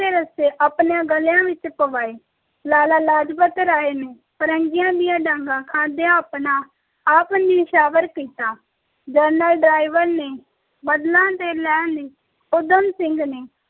ਦੇ ਰੱਸੇ ਆਪਣੇ ਗਲੇਆਂ ਵਿਚ ਪਵਾਏ ਲਾਲਾ ਲਾਜਪਤ ਰਾਯ ਨੇ ਫ਼ਿਰੰਗੀਆਂ ਦੀਆਂ ਡਾਂਗ ਖਾਂਦਿਆਂ ਆਪਣਾ ਆਪ ਨਯੋਚਵਾਰ ਕੀਤਾ ਡਾਇਰ ਨੇ ਬਦਲਾ ਲੈਣ ਲਈ ਊਧਮ ਸਿੰਘ ਨੇ